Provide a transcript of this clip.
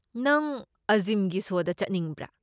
ꯅꯪ ꯑꯖꯤꯝꯒꯤ ꯁꯣꯗꯁꯨ ꯆꯠꯅꯤꯡꯕ꯭ꯔꯥ?